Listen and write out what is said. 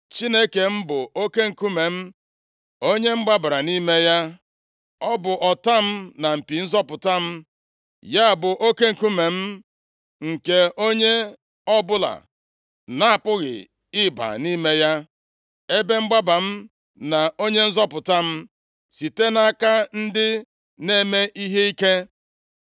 Chineke m bụ oke nkume m, onye m gbabara nʼime ya. Ọ bụ ọta m, na mpi nzọpụta m. Ya bụ oke nkume m nke onye ọbụla na-apụghị ịba nʼime ya, ebe mgbaba m, na onye nzọpụta m, site nʼaka ndị na-eme ihe ike.